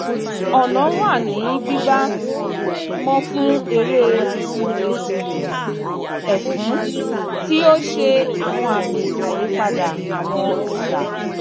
ọ̀nà wà ní gbígbá mọ́ fún eré ètùtù ẹfun tí ó ṣe àwọn àmì àyípadà àwọn ìgbà